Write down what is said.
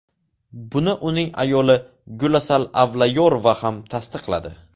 Buni uning ayoli Gulasal Avlayorova ham tasdiqladi.